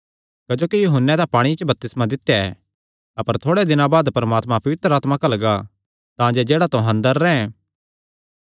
क्जोकि यूहन्ने तां पांणिये च बपतिस्मा दित्या ऐ अपर थोड़ेयां दिनां बाद परमात्मा पवित्र आत्मा घल्लगा तांजे जेह्ड़ा तुहां अंदर रैंह्